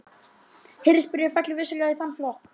Hirðisbréfið fellur vissulega í þann flokk.